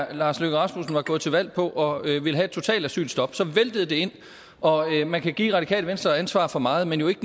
herre lars løkke rasmussen var gået til valg på at ville have et totalt asylstop så væltede det ind og man kan give radikale venstre ansvar for meget men jo ikke